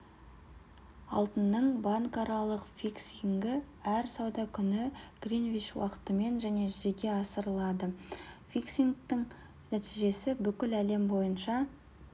алтынның банкаралық фиксингі әр сауда күні гринвич уақытымен және жүзеге асырылады фиксингтің нәтижесі бүкіл әлем бойынша